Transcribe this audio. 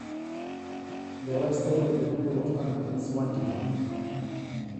Kitorrono enkishon oo ltung'ana lo losho le Arua